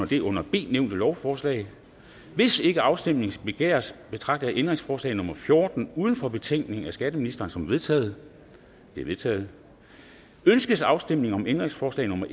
det under b nævnte lovforslag hvis ikke afstemning begæres betragter jeg ændringsforslag nummer fjorten uden for betænkningen af skatteministeren som vedtaget det er vedtaget ønskes afstemning om ændringsforslag nummer